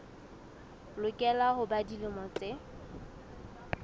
lokela ho ba dilemo tse